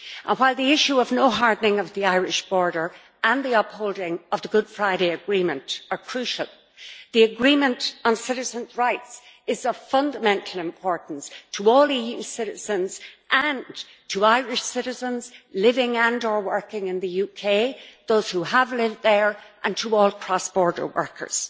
While the issue of no hardening of the Irish border and the upholding of the Good Friday Agreement are crucial, the agreement on citizens' rights is of fundamental importance to all EU citizens, and to Irish citizens living and or working in the UK, those who have lived there, and to all cross-border workers.